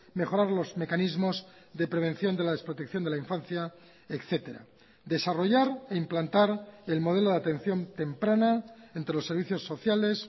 mejorar los mecanismos de prevención de la desprotección de la infancia etcétera desarrollar e implantar el modelo de atención temprana entre los servicios sociales